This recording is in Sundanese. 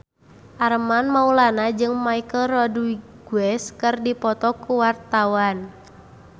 Armand Maulana jeung Michelle Rodriguez keur dipoto ku wartawan